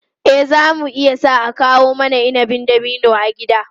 Eh, za mu iya sa a kawo mana inabin dabino a gida.